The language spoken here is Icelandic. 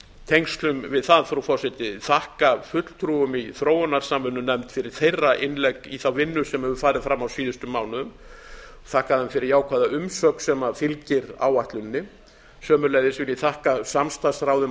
tengslum við það frú forseti þakka fulltrúum í þróunarsamvinnunefnd fyrir þeirra innlegg í þá vinnu sem hefur farið fram á síðustu mánuðum þakka þeim fyrir jákvæða umsögn sem fylgir áætluninni sömuleiðis vil ég þakka samstarfsráði um